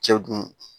Cɛw dun